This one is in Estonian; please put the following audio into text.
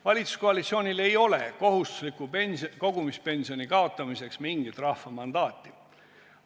Valitsuskoalitsioonil ei ole kohustusliku kogumispensioni kaotamiseks mingit rahva mandaati.